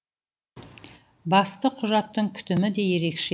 басты құжаттың күтімі де ерекше